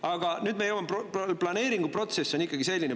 Aga nüüd me jõuame, planeeringuprotsess on ikkagi selline.